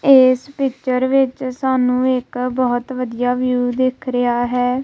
ਇਸ ਪਿੱਚਰ ਵਿੱਚ ਸਾਨੂੰ ਇੱਕ ਬਹੁਤ ਵਧੀਆ ਵਿਊ ਦਿਖ ਰਿਹਾ ਹੈ।